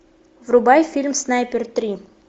врубай фильм снайпер три